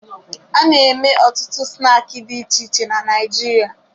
A na-eme ọtụtụ snaakị dị iche iche na Naịjirịa